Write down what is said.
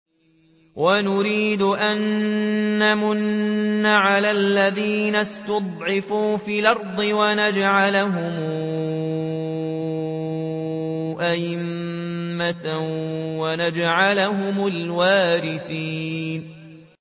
وَنُرِيدُ أَن نَّمُنَّ عَلَى الَّذِينَ اسْتُضْعِفُوا فِي الْأَرْضِ وَنَجْعَلَهُمْ أَئِمَّةً وَنَجْعَلَهُمُ الْوَارِثِينَ